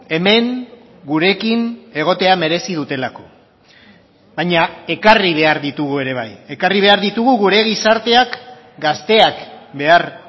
hemen gurekin egotea merezi dutelako baina ekarri behar ditugu ere bai ekarri behar ditugu gure gizarteak gazteak behar